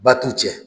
Ba t'u cɛ